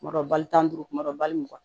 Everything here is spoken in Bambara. Tuma dɔ bali tan ni duuru kuma dɔ ye wa mugan